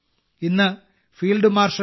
ഇന്ന് field marshal K